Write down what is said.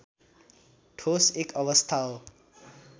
ठोस एक अवस्था हो